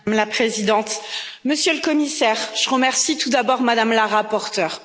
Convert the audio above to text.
Madame la Présidente, Monsieur le Commissaire, je remercie tout d'abord Mme la rapporteure.